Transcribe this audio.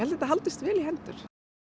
þetta haldist vel í hendur